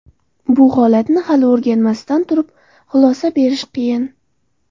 Bu holatni hali o‘rganmasdan turib, xulosa berish qiyin.